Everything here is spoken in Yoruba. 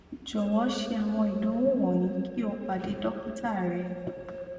jọwọ ṣe awọn idanwo wọnyi ki o pade dokita rẹ